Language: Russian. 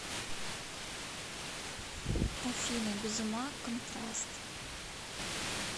афина без ума контраст